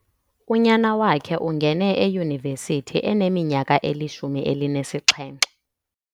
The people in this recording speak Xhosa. Unyana wakhe ungene eyunivesithi eneminyaka elishumi elinesixhenxe.